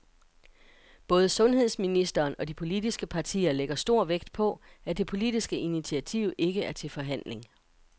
Både sundhedsministeren og de politiske partier lægger stor vægt på, at det politiske initiativ ikke er til forhandling.